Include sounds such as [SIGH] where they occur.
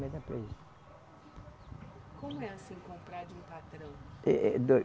[UNINTELLIGIBLE] Como é assim comprar de um patrão? Eh, eh